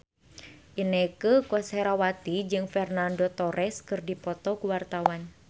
Inneke Koesherawati jeung Fernando Torres keur dipoto ku wartawan